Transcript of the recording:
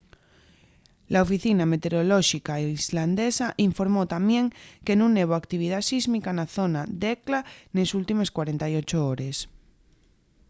la oficina meteorolóxica islandesa informó tamién que nun hebo actividá sísmica na zona d’hekla nes últimes 48 hores